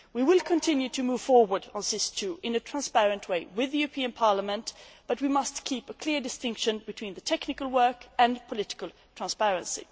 We will continue to move forward on SIS II in a transparent way with the European Parliament, but we must keep a clear distinction between the technical work and political transparency.